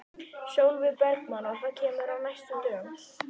Sólveig Bergmann: Og það kemur á næstu dögum?